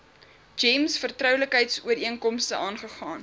gems vertroulikheidsooreenkomste aangegaan